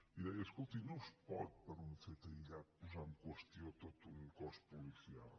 i deia escolti no es pot per un fet aïllat posar en qüestió tot un cos policial